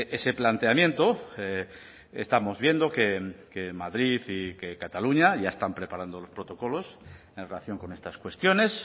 ese planteamiento estamos viendo que madrid y que cataluña ya están preparando los protocolos en relación con estas cuestiones